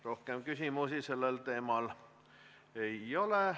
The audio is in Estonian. Rohkem küsimusi sellel teemal ei ole.